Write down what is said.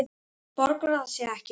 Borgar það sig ekki?